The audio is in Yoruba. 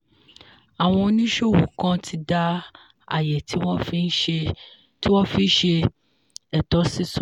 àwọn oníṣòwò kan ti dá àyè tí wọ́n fi ṣe ètò sísan.